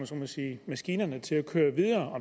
så må sige maskinerne til at køre videre og